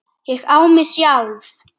Ég á mig sjálf.